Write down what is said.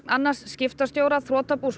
öðrum skiptastjóra þrotabús